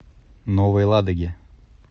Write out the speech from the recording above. новой ладоге